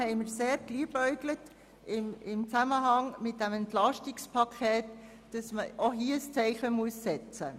Deshalb haben wir mit Blick auf das Entlastungspaket damit geliebäugelt, auch hier ein Zeichen zu setzen.